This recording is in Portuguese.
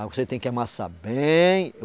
Aí você tem que amassar bem.